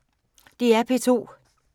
DR P2